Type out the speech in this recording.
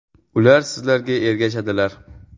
Ular sizlarga ergashadilar.